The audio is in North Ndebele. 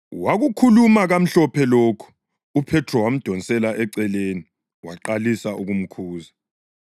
Wakukhuluma kamhlophe lokho, uPhethro wamdonsela eceleni waqalisa ukumkhuza.